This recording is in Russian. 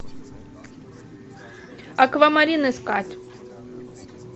аквамарин искать